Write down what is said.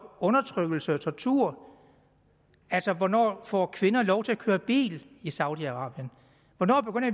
undertrykkelse og tortur altså hvornår får kvinder lov til at køre bil i saudi arabien